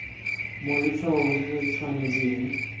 mo letshwaong se se tshwanetseng